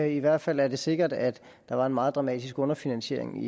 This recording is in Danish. i hvert fald er det sikkert at der var en meget dramatisk underfinansiering